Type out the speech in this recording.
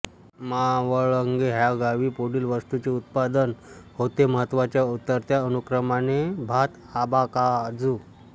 मावळंगे ह्या गावी पुढील वस्तूंचे उत्पादन होते महत्त्वाच्या उतरत्या अनुक्रमाने भातआंबाकाजू